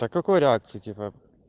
так какой реакции типа